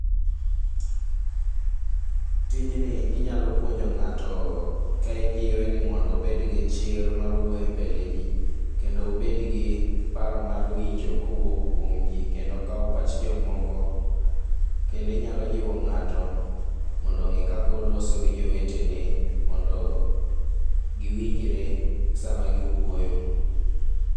Tijni inyalo puonjo ng'ato ka ijiwe ni mondo obed gichir mar wuoyo embele jii kendo obedgi paro mar winjo kowuok kuom jii kendo kawo pach jomoko. Kendo inyalo jiwo ng'ato mondo ong'e kaka oloso gi jowetene mondo giwinjre sama giwuoyo.